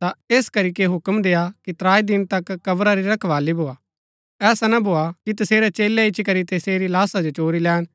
ता ऐस करीके हुक्म देय्आ कि त्राई दिन तक कब्रा री रखवाली भोआ ऐसा ना भोआ कि तसेरै चेलै इच्ची करी तसेरी लाशा जो चोरी लैन